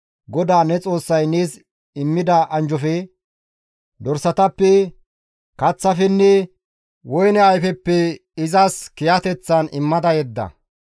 GODAA ne Xoossay nees immida anjjofe, dorsatappe, kaththafenne woyne ayfeppe izas kiyateththan immada yedda.